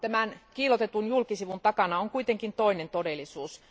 Tämän kiillotetun julkisivun takana on kuitenkin toinen todellisuus.